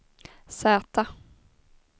Z